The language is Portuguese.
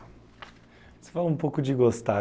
Você falou um pouco de gostar.